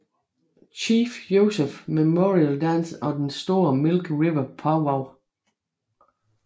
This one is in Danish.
Chief Joseph Memorial Dance og den store Milk River Powwow